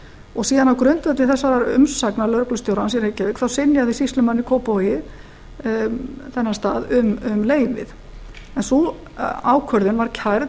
og síðan á grundvelli þessarar umsagnar lögreglustjórans í reykjavík synjaði sýslumaðurinn í kópavogi þessum stað um leyfið sú ákvörðun var kærð